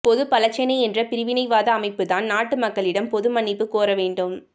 பொதுபல சேனை என்ற பிரிவினைவாத அமைப்புதான் நாட்டு மக்களிடம் பொது மன்னிப்பு கோரவேண்டும்